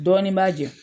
Dɔɔnin b'a jɛn